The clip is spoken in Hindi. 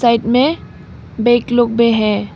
साइड में लोग भी है।